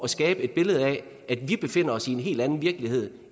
skabe et billede af at vi befinder os i en helt anden virkelighed